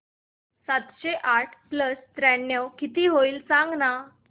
सातशे आठ प्लस त्र्याण्णव किती होईल सांगना